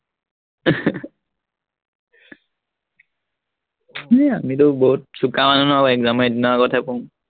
হেৰ আমিটো বহুত চোকা মানুহ ন, এক্সামৰ এদিনৰ আগতেহে পঢ়ো।